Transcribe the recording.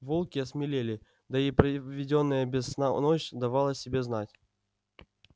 волки осмелели да и проведённая без сна ночь давала о себе знать